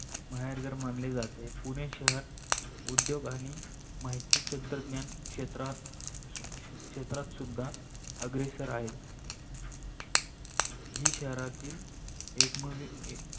माहेरघर मानले जाते. पुणे शहर उद्योग आणि माहिती तंत्रज्ञान शाहेत्रात क्षेत्रात सुद्धा आग्रेसर आहे. ही शहरातील एकमेव